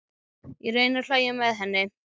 Ég reyni að hlæja með henni.